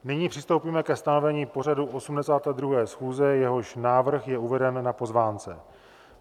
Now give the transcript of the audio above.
Nyní přistoupíme ke stanovení pořadu 82. schůze, jehož návrh je uveden na pozvánce.